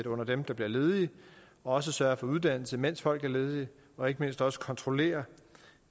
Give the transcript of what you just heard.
under dem der bliver ledige og også sørge for uddannelse mens folk er ledige og ikke mindst også kontrollere